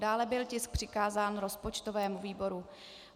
Dále byl tisk přikázán rozpočtovému výboru.